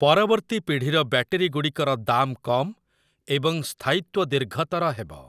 ପରବର୍ତ୍ତୀ ପିଢ଼ିର ବ୍ୟାଟେରୀଗୁଡ଼ିକର ଦାମ କମ୍ ଏବଂ ସ୍ଥାୟିତ୍ଵ ଦୀର୍ଘତର ହେବ ।